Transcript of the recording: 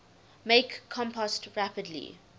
make compost rapidly